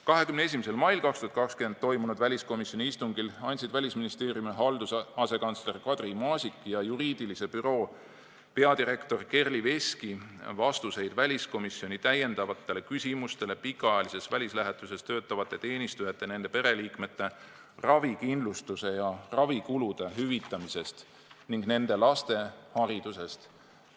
21. mail 2020 toimunud väliskomisjoni istungil andsid Välisministeeriumi halduse asekantsler Kadri Maasik ja juriidilise büroo peadirektor Kerli Veski vastuseid väliskomisjoni täiendavatele küsimustele pikaajalises välislähetuses töötavate teenistujate ja nende pereliikmete ravikindlustuse ja ravikulude hüvitamise kohta ning nende laste hariduse kohta.